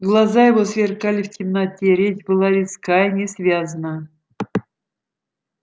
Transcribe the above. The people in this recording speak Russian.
глаза его сверкали в темноте речь была резка и несвязна